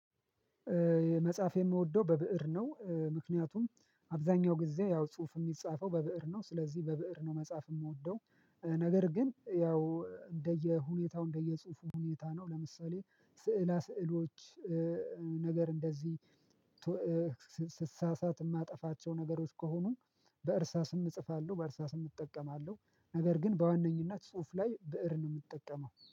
መጻፍ የምወደው በብእር ነው ምክንያቱም አብዛኛው ጊዜ ያው ጽሁፍ የሚጻፈው በብእር ነው ስለዚህ በብእር ነው መጻፍ የምወደው። ነገር ግን ያው እንደየ ሁኔታው እንደየ ጽሁፉ ሁኔታ ነው። ለምሳሌ ሥዕላ ስዕሎች ነገር እንደዚህ ስሳሳት የማጠፋቸው ነገሮች ከሆኑ በእርሳስም እጽፋለሁ በእርሳስም እጠቀማለሁ። ነገር ግን በዋነኝነት ጽሁፍ ላይ ብእር ነው የምትጠቀመው